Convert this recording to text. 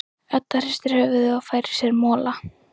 Edda hristir höfuðið og fær sér mola.